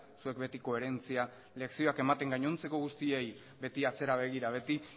zuek beti koherentzia lezioak ematen gainontzeko guztiei beti atzera begira beti